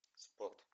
спорт